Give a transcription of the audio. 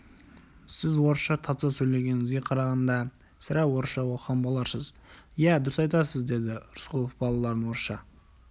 сіз орысша таза сөйлегеніңізге қарағанда сірә орысша оқыған боларсыз иә дұрыс айтасыз деді рысқұлов балаларын орысша